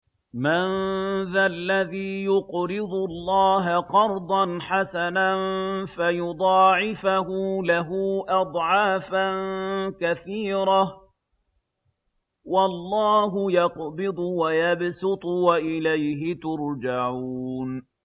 مَّن ذَا الَّذِي يُقْرِضُ اللَّهَ قَرْضًا حَسَنًا فَيُضَاعِفَهُ لَهُ أَضْعَافًا كَثِيرَةً ۚ وَاللَّهُ يَقْبِضُ وَيَبْسُطُ وَإِلَيْهِ تُرْجَعُونَ